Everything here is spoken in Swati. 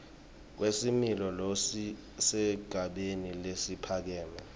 kwesimilo lokusesigabeni lesiphakeme